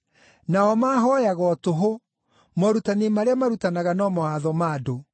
Nao maahooyaga o tũhũ; morutani marĩa marutanaga no mawatho ma andũ.’ ”